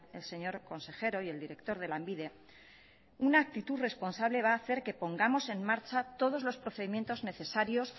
el señor consejero y el director de lanbide una actitud responsable va a hacer que pongamos en marcha todos los procedimientos necesarios